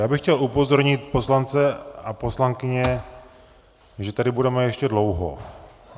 Já bych chtěl upozornit poslance a poslankyně, že tady budeme ještě dlouho.